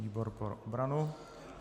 Výbor pro obranu.